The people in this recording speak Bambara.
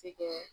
Se kɛ